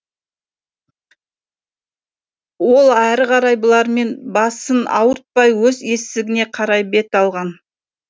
ол әрі қарай бұлармен басын ауыртпай өз есігіне қарай бет алған